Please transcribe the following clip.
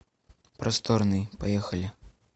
просторный поехали